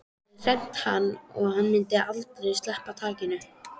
Það hafði hremmt hann og myndi aldrei sleppa takinu.